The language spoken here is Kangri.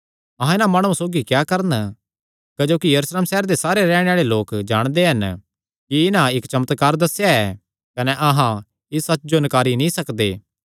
अहां इन्हां माणुआं सौगी क्या करन क्जोकि यरूशलेम सैहरे दे सारे रैहणे आल़े लोक जाणदे हन कि इन्हां इक्क चमत्कार दस्सेया ऐ कने अहां इस सच्च जो नकारी नीं सकदे